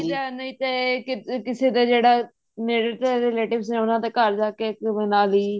ਲਈ ਦਾ ਨਹੀਂ ਤੇ ਕਿਸੇ ਦੇ ਜਿਹੜਾ ਨੇੜੇ ਤੇੜੇ relatives ਉਹਨਾ ਦੇ ਘਰ ਜਾਕੇ ਮਨਾਲੀ